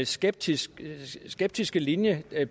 skeptiske skeptiske linje